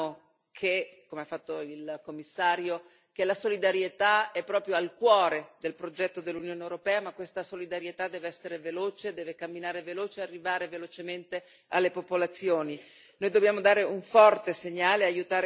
Allora è bene che noi ricordiamo, come ha fatto il Commissario, che la solidarietà è proprio al cuore del progetto dell'Unione europea, ma questa solidarietà deve essere veloce, deve camminare veloce e arrivare velocemente alle popolazioni.